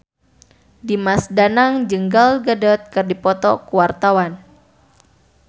Dimas Danang jeung Gal Gadot keur dipoto ku wartawan